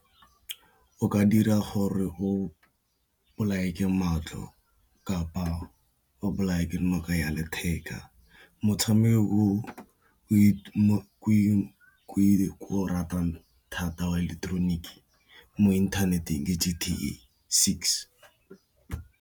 O ka dira gore o bolawe ke matlho kapa o bolawe ke noka ya letheka, motshameko o ke o ratang thata wa ileketeroniki mo inthaneteng ke .